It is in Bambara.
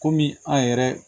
Kɔmi an yɛrɛ